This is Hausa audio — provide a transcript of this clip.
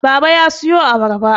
baba ya siyo abarbar